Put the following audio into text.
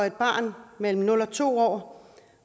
et barn mellem nul og to år